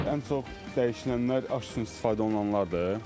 Ən çox dəyişilənlər aş üçün istifadə olunanlardır.